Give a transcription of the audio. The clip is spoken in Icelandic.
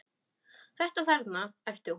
Þetta þarna, æpti hún.